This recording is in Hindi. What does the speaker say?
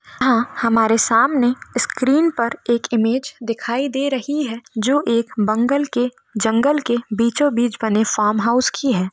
यहाँ हमारे सामने स्क्रीन पर एक इमेज दिखाई दे रही है जो एक बंगल के जंगल के बीचों-बीच बने फॉर्म हाउस की है।